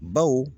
Baw